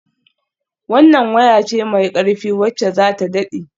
Wannan waya ce mai ƙarfi wacce za ta daɗe.